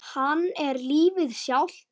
Hann er lífið sjálft.